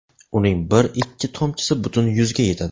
Uning bir ikki tomchisi butun yuzga yetadi.